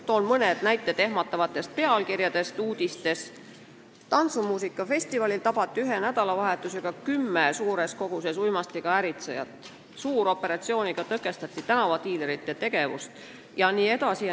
Toon mõned näited ehmatavate uudiste pealkirjade kohta: "Tantsumuusikafestivalil tabati ühe nädalavahetusega kümme suures koguses uimastiga äritsejat", "Suuroperatsiooniga tõkestati tänavadiilerite tegevust" jne.